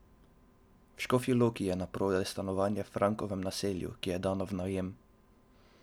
V Škofji Loki je naprodaj stanovanje v Frankovem naselju, ki je dano v najem.